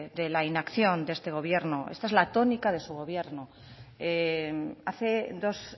de la inacción de este gobierno esta es la tónica de su gobierno hace dos